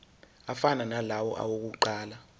afana nalawo awokuqala